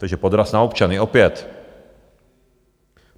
Takže podraz na občany, opět.